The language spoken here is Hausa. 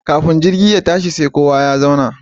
Kafin jirgi ya tashi sai kowa ya zauna